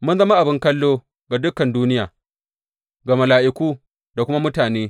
Mun zama abin kallo ga dukan duniya, ga mala’iku da kuma mutane.